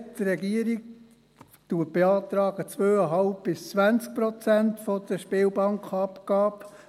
Die Regierung beantragt 2,5–20 Prozent der Spielbankenabgabe;